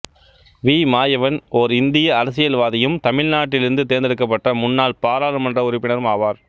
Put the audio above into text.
we Mayavan ஓர் இந்திய அரசியல்வாதியும் தமிழ்நாட்டிலிருந்து தேர்ந்தெடுக்கப்பட்ட முன்னாள் பாராளுமன்ற உறுப்பினரும் ஆவார்